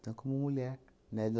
Então, como mulher, né?